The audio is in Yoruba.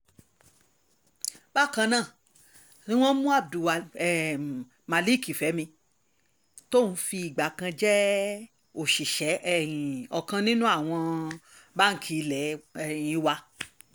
bákan ná ni wọ́n mú abdulmalik fẹ́mi tóun ti fìgbà kan jẹ́ òṣìṣẹ́ um ọkàn nínú àwọn báǹkì ilé um wa